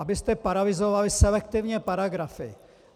Abyste paralyzovali selektivně paragrafy.